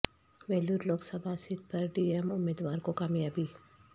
Vellore Lok Sabha seat پر D M امیدوار کو کامیابی